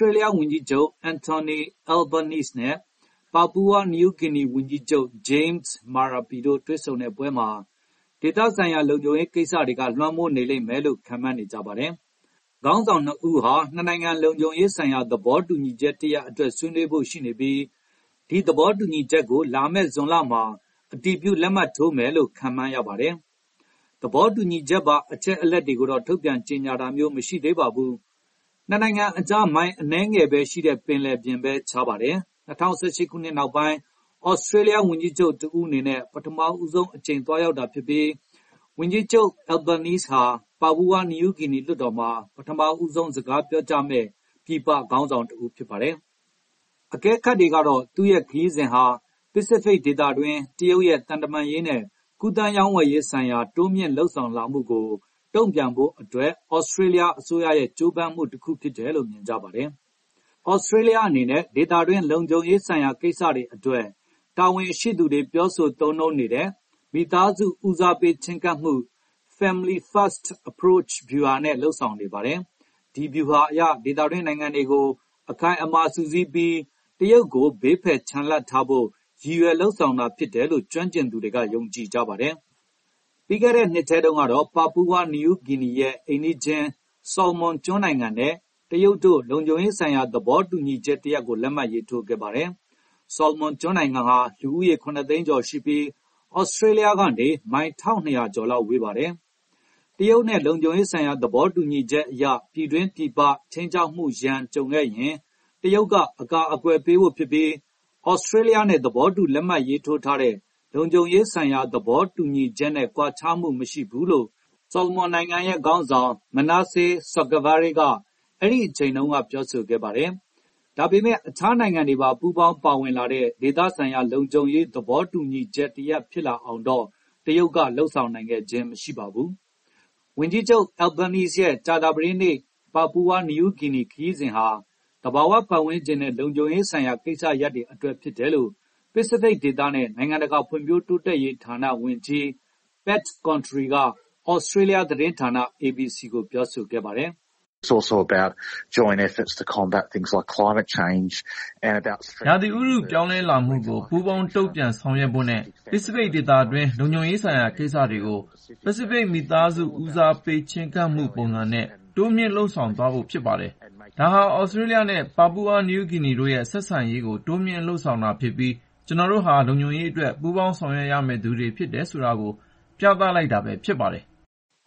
ြေးလျားဝန်ကြီးချုပ် Antony Albanese နဲ့ ပါပူဝါနယူးဂီနီဝန်ကြီးချုပ် James Marape တို့ တွေ့ဆုံပွဲမှာ ဒေသဆိုင်ရာ လုံခြုံရေးကိစ္စတွေကလွှမ်းမိုးနေမယ်လို့ ခန့်မှန်းနေကြပါတယ်။ ခေါင်းဆောင်နှစ်ဦးဟာ နှစ်နိုင်ငံလုံခြုံရေးဆိုင်ရာ သဘောတူညီချက်တရပ်အတွက် ဆွေးနွေးဖို့ရှိနေပြီး ဒီသဘောတူညီချက်ကို လာမယ့် ဇွန်လမှာအတည်ပြုလက်မှတ်ထိုးမယ်လို့ ခန့်မှန်းရပါတယ်။ သဘောတူညီချက်ပါ အချက်အလက်တွေကိုတော့ ထုတ်ပြန်ကြေညာတာမျိုးမရှိသေးပါဘူး။ နှစ်နိုင်ငံကြား မိုင်အနည်းငယ်ပဲရှိတဲ့ပင်လယ်ပြင်ပဲ ခြားပါတယ်။ ၂၀၁၈ ခုနှစ်နောက်ပိုင်း သြစတြေးလျားဝန်ကြီးချုပ်တဦးအနေနဲ့ ပထမဆုံးအကြိမ်သွားရောက်တာဖြစ်ပြီး ဝန်ကြီးချုပ် Albanese ဟာ ပါပူဝါနယူးဂီနီလွှတ်တော်မှာ ပထမဆုံးစကားပြောကြားမယ့် ပြည်ပခေါင်းဆောင်တဦးဖြစ်ပါတယ်။ အကဲခတ်တွေကတော့ သူ့ရဲ့ခရီးစဉ်ဟာ ပစိဖိတ်ဒေသတွင်း တရုတ်ရဲ့သံတမန်ရေးနဲ့ ကူးသန်းရောင်းဝယ်ရေးဆိုင်ရာ တိုးမြှင့်လုပ်ဆောင်လာမှုကို တုံ့ပြန်ဖို့အတွက် သြစတြေးလျားအစိုးရရဲ့ကြိုးပမ်းမှုတခုလို့မြင်ကြပါတယ်။ သြစတြေးလျားအနေနဲ့ ဒေသတွင်းလုံခြုံရေးဆိုင်ရာကိစ္စတွေအတွက် တာဝန်ရှိသူတွေပြောဆိုသုံးနှုန်းနေတဲ့ “မိသားစု ဦးစားပေးချဉ်းကပ်မှု” “Family- first approach” ဗျူဟာနဲ့လုပ်ဆောင်နေပါတယ်။ ဒီဗျူဟာအရ ဒေသတွင်းနိုင်ငံတွေကို အခိုင်အမာစုစည်းပြီး တရုတ်ကိုဘေးဖယ်ချန်လှပ်ထားဖို့ ရည်ရွယ်လုပ်ဆောင်တာဖြစ်တယ်လို့ ကျွမ်းကျင်သူတွေက ယုံကြည်ကြပါတယ်။ ပြီးခဲ့တဲ့နှစ်ထဲတုန်းကတော့ ပါပူဝါနယူးဂီနီရဲ့ အိမ်နီးချင်း ဆော်လမွန်ကျွန်းနိုင်ငံနဲ့ တရုတ်တို့လုံခြုံရေးဆိုင်ရာ သဘောတူညီချက်တရပ်ကို လက်မှတ်ရေးထိုးခဲ့ပါတယ်။ ဆော်လမွန်နိုင်ငံဟာ လူဦးရေ ၇ သိန်းကျော်ရှိပြီး သြစတြေးလျားကနေမိုင် ၁,၂၀၀ ကျော်လောက်ဝေးပါတယ်။ တရုတ်နဲ့ လုံခြုံရေးဆိုင်ရာသဘောတူညီချက်အရ ပြည်တွင်း၊ ပြည်ပ ခြိမ်းခြောက်မှုရန်ကြုံခဲ့ရင် တရုတ်ကအကာကွယ်ပေးဖို့ဖြစ်ပြီး သြစတြေးလျားနဲ့ သဘောတူလက်မှတ်ရေးထိုးထားတဲ့ လုံခြုံရေးဆိုင်ရာ သဘောတူညီချက်နဲ့ ကွာခြားမှုမရှိဘူးလို့ ဆော်လမွန်နိုင်ငံရဲ့ခေါင်းဆောင် Manasseh Sogavare က အဲဒိအချိန်တုန်းက ပြောခဲ့ပါတယ်။ ဒါပေမယ့် အခြားနိုင်ငံတွေပါ ပူးပေါင်းပါဝင်လာတဲ့ဒေသဆိုင်ရာလုံခြုံရေး သဘောတူညီချက်တ ရပ်ဖြစ်လာအောင်တော့ တရုတ်က လုပ်ဆောင်နိုင်ခဲ့ခြင်းမရှိပါဘူး။ ဝန်ကြီးချုပ် Albanese ရဲ့ ကြာသပတေးနေ့ ပါပူဝါနယူးဂီနီခရီးစဉ်ဟာ သဘာဝပတ်ဝန်းကျင်နဲ့ လုံခြုံရေးဆိုင်ရာကိစ္စရပ်တွေအတွက်ဖြစ်တယ်လို့ ပစိဖိတ်ဒေသနဲ့ နိုင်ငံတကာဖွံ့ဖြိုးတိုးတက်ရေးဌာနဝန်ကြီး Pat Controy က သြစတြေးလျားသတင်းဌာန ABC ကိုပြောဆိုခဲ့ပါတယ်။ “ရာသီဥတုပြောင်းလဲလာမှုကို ပူးပေါင်းတုံ့ပြန်ဆောင်ရွက်ဖို့နဲ့ ပစိဖိတ်ဒေသတွင်း လုံခြုံရေးဆိုင်ရာကိစ္စတွေကို “ပစိဖိတ်မိသားစုဦးစားပေးချဉ်းကပ်မှုပုံစံနဲ့” တိုးမြှင့်လုပ်ဆောင်သွားဖို့ဖြစ်ပါတယ်။ ဒါဟာ သြစတြေးလျားနဲ့ ပါပူဝါနယူးဂီနီတို့ရဲ့ ဆက်ဆံရေးကိုတိုးမြှင့်လုပ်ဆောင်တာဖြစ်ပြီး ကျနော်တို့ဟာ လုံခြုံရေးအတွက်ပူးပေါင်းဆောင်ရွက်ရမယ့်သူတွေဖြစ်တယ်ဆိုတာကို ပြသလိုက်တာပဲ ဖြစ်ပါတယ်။”